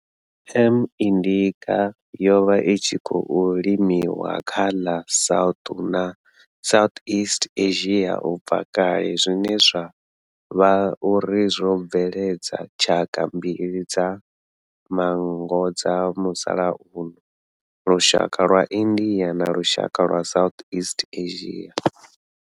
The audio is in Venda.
M. indica yo vha i tshi khou limiwa kha ḽa South na Southeast Asia ubva kale zwine zwa vha uri zwo bveledza tshaka mbili dza manngo dza musalauno, lushaka lwa India na lushaka lwa Southeast Asia.